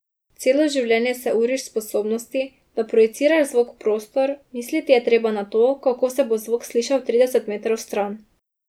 Celo življenje se uriš v sposobnosti, da projiciraš zvok v prostor, misliti je treba na to, kako se bo zvok slišal trideset metrov stran.